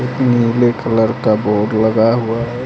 नीले कलर का बोड़ लगा हुआ है।